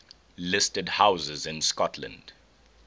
listed houses in scotland